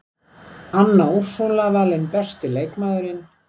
Anna Úrsúla valin besti leikmaðurinn